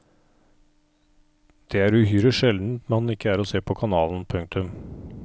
Det er uhyre sjeldent han ikke er å se på kanalen. punktum